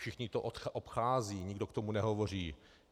Všichni to obcházejí, nikdo k tomu nehovoří.